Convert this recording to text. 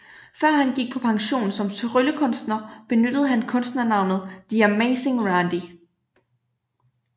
Før han gik på pension som tryllekunstner benyttede han kunstnernavnet The Amazing Randi